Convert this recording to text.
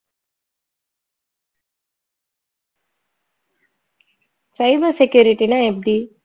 cyber security ன்னா எப்படி